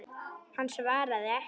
Hann svaraði ekki.